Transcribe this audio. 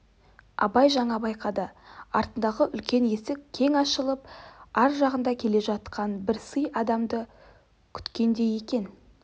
абай жаңа байқады артындағы үлкен есік кең ашылып ар жағында келе жатқан бір сый адамды күткендей екен